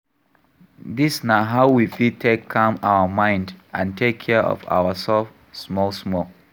Dis na how we fit take calm our mind and take care of our self small small